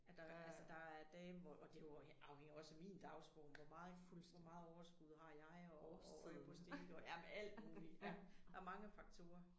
At der er dage hvor og jo også det afhænger jo også af min dagsform hvor meget hvor meget overskud har jeg og og ryger på stilke og jamen alt muligt ja. Der er mange faktorer